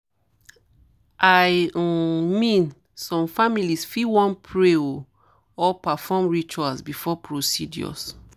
i um mean some families fit wan pray ah or um perform rituals before procedures.